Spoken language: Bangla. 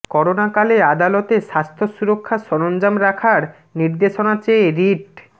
করোনাকালে আদালতে স্বাস্থ্য সুরক্ষা সরঞ্জাম রাখার নির্দেশনা চেয়ে রিট